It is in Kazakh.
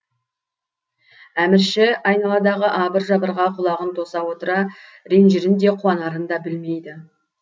әмірші айналадағы абыр жабырға құлағын тоса отыра ренжірін де қуанарын да білмейді